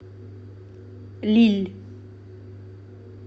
лилль